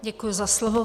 Děkuji za slovo.